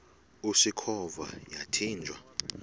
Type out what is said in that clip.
usikhova yathinjw a